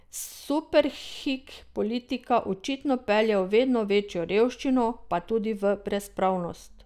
Superhik politika očitno pelje v vedno večjo revščino, pa tudi v brezpravnost.